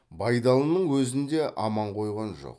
байдалының өзін де аман қойған жоқ